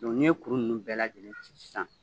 n'i ye kuru ninnu bɛɛ lajɛlen ci sisan